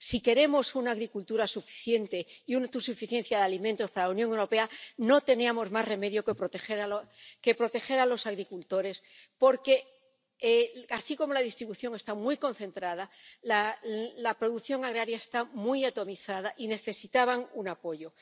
Si queremos una agricultura suficiente y una autosuficiencia de alimentos para la Unión Europea, no teníamos más remedio que proteger a los agricultores porque, así como la distribución está muy concentrada, la producción agraria está muy atomizada y necesitaba un apoyo.